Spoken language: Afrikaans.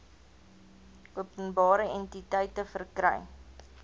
openbare entiteite verkry